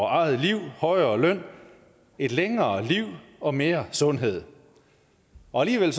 eget liv højere løn et længere liv og mere sundhed og alligevel